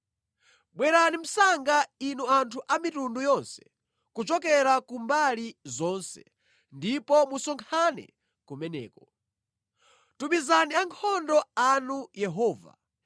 Bwerani msanga, inu anthu a mitundu yonse kuchokera ku mbali zonse, ndipo musonkhane kumeneko. Tumizani ankhondo anu Yehova!